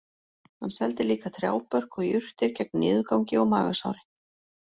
Hann seldi líka trjábörk og jurtir gegn niðurgangi og magasári